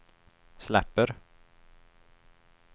släpper